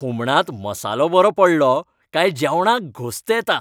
हुमणांत मसालो बरो पडलो काय जेवणाक घोस्त येता.